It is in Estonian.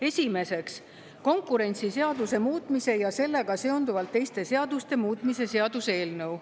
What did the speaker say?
Esimeseks, konkurentsiseaduse muutmise ja sellega seonduvalt teiste seaduste muutmise seaduse eelnõu.